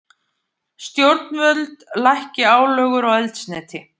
Stjórnvöld lækki álögur á eldsneyti